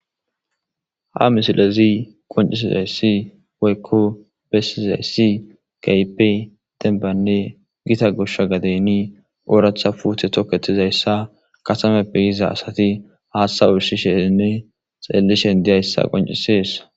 Ha misilezi qoncisizayssi woykko bessizayssi kaype denbanne gita gosha gadeyni ooratha puuthe toketizayssa kasameppe iza asati haaththa usishenne xeellishen diyayssa qoncisessa.